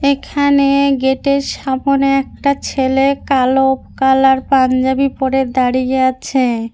এখানে গেট -এর সামোনে একটা ছেলে কালো কালার পাঞ্জাবি পরে দাঁড়িয়ে আছে।